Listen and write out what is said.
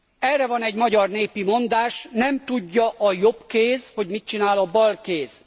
Erre van egy magyar népi mondás nem tudja a jobb kéz, hogy mit csinál a bal kéz.